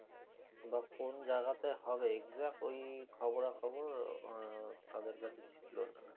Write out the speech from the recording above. বা কোন জায়গাতে হবে exact ঐ খবরা খবর আহ তাদের কাছে ছিলো না